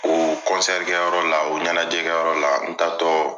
O kɔnsɛri kɛyɔrɔ la o ɲɛnajɛkɛyɔrɔ la n taatɔ